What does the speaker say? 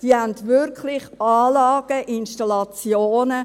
Die haben wirklich Anlagen, Installationen.